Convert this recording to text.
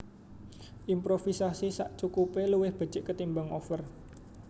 Improvisasi sakcukupé luwih becik ketimbang over